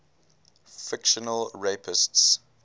fictional rapists